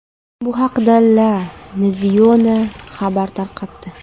Bu haqda La Nazione xabar tarqatdi .